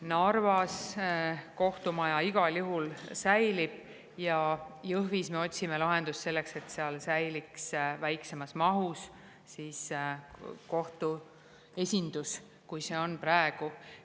Narvas kohtumaja igal juhul säilib ja Jõhvis me otsime lahendust selleks, et seal säiliks kohtu esindus väiksemas mahus, kui see on praegu.